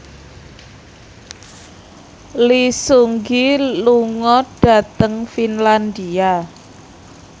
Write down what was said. Lee Seung Gi lunga dhateng Finlandia